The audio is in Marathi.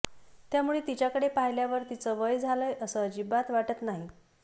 त्यामुळे तिच्याकडे पाहिल्यावर तिचं वय झालंय असं अजिबात वाटत नाही